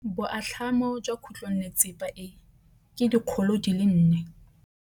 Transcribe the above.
Boatlhamô jwa khutlonnetsepa e, ke 400.